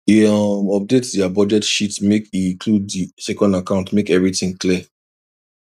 e um update their budget sheet make e include the second account make everything clear